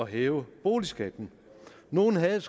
hæve boligskatten nogle havde